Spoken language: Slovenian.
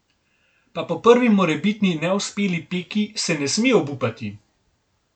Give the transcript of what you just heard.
Pa po prvi morebitni neuspeli peki se ne sme obupati!